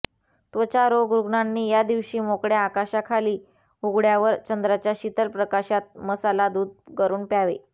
त्वचा रोग रुग्णांनी या दिवशी मोकळ्या आकाशाखाली उघड्यावर चंद्राच्या शीतल प्रकाशात मसाला दूध करुन प्यावे